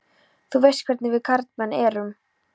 Þú veist hvernig við karlmenn erum.